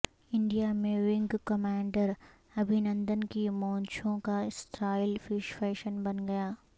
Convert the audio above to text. India میں wing commander Abhinandan کی مونچھوں کا سٹائل فیشن بن گیا